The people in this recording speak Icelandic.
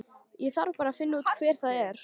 Ég þarf bara að finna út hver það er.